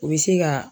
U bɛ se ka